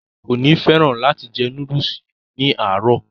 kò ní fẹ́ràn láti jẹ núdùsì ní àárọ̀